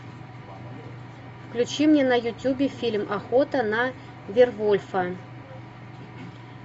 включи мне на ютубе фильм охота на вервольфа